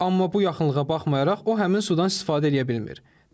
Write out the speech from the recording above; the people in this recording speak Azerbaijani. Amma bu yaxınlığa baxmayaraq o həmin sudan istifadə eləyə bilmir.